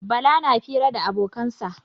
Bala na fira da abokansa.